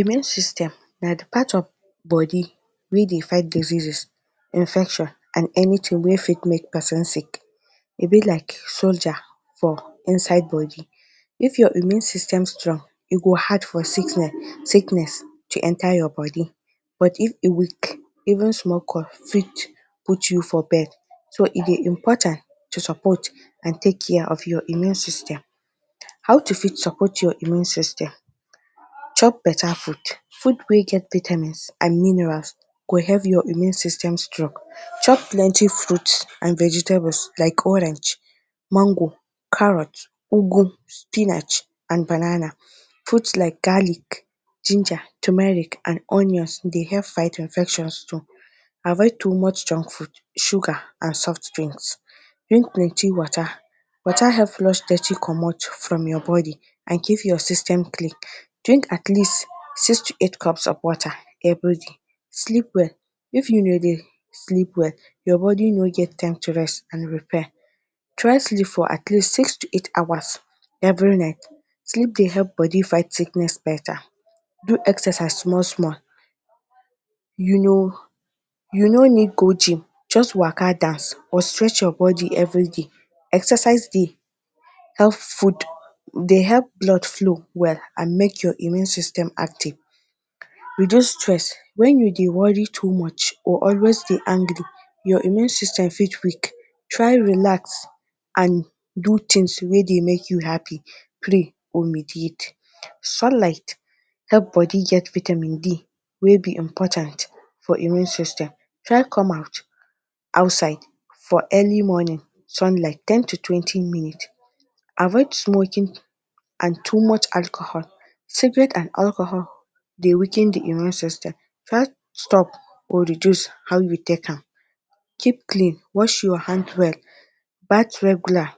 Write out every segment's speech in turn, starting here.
Immune system na the part of body wey dey fight diseases, infection and anything wey fit make person sick. E be like soldier for inside body. If your immune system strong, e go hard for sickness to enter your body, but if e weak, even small cough fit put you for bed. So, e dey important to support and take care of your immune system. How to fit support your immune system: Chop better food. Food wey get vitamins and minerals go help your immune system strong. Chop plenty fruits and vegetables like orange, mango, carrot, ugwu, spinach and banana. Fruits like garlic, ginger, tumeric and onions dey help fight infections too. Avoid too much junk food, sugar and soft drinks. Drink plenty water. Water help flush dirty comot from your body and keep your system clean. Drink atleast six to eight cups of water everyday. Sleep well. If you no dey sleep well, your body no get time to rest and repair. Try sleep for atleast six to eight hours every night. Sleep dey help body fight sickness better. Do exercise small small. You no you no need cold thing. Just waka, dance or stretch your body everyday. Exercise dey help food dey help blood flow well and make your immune system active. Reduce stress. When you dey worry too much or always dey angry, your immune system fit weak. Try relax and do things wey dey make you happy, pray or mediate. Sunlight help body get vitamin D wey be important for immune system. Try come out outside for early morning sunlight, ten to twenty minute. Avoid smoking and too much alcohol. Cigarette and alcohol dey weaken the immune system. Try stop or reduce how you take am. Keep clean, wash your hand well, bath regular,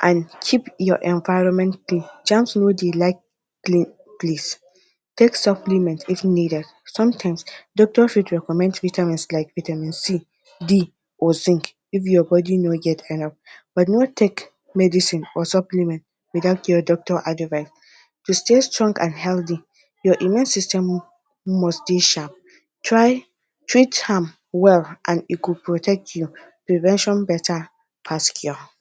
and keep your environment clean. Germs no dey like clean place. Take supplement if needed. Sometimes, doctor fit recommend vitamins like vitamin C, D or zinc if your body no get, but no take medicine or supplement without your doctor advice. To stay strong and healthy, your immune system must dey sharp. Try treat am well and e go protect you. Prevention better pass cure.